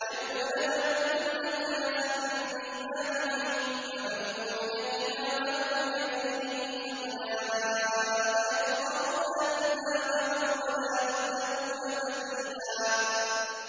يَوْمَ نَدْعُو كُلَّ أُنَاسٍ بِإِمَامِهِمْ ۖ فَمَنْ أُوتِيَ كِتَابَهُ بِيَمِينِهِ فَأُولَٰئِكَ يَقْرَءُونَ كِتَابَهُمْ وَلَا يُظْلَمُونَ فَتِيلًا